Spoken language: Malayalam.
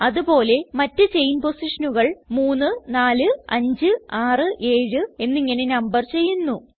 അത് പോലെ മറ്റ് ചെയിൻ പൊസിഷനുകൾ 3 4 5 6 7 എന്നിങ്ങനെ നമ്പർ ചെയ്യുന്നു